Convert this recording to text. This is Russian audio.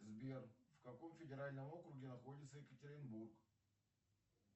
сбер в каком федеральном округе находится екатеринбург